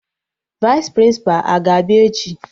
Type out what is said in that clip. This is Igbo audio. Vaịs Prịnsịpa a ga-abịa echi?